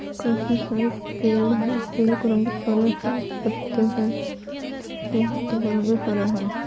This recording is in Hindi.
काफी सारे पेड़ हैं पेड़ का रंग हरा है| पत्ते है पत्त पत्ते का रंग हरा है।